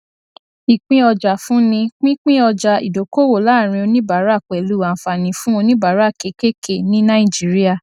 ìpínọjàfúnni pínpín ọjà ìdókòwò láàrin oníbàárà pẹlú àǹfààní fún oníbàárà kékèké ní nàìjíríà